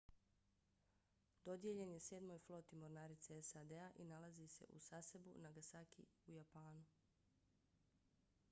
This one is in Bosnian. dodijeljen je sedmoj floti mornarice sad-a i nalazi se u sasebu nagasaki u japanu